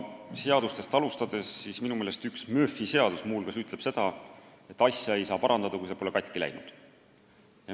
Kui seadustest alustada, siis minu meelest üks Murphy seadus ütleb seda, et asja ei saa parandada, kui see pole katki läinud.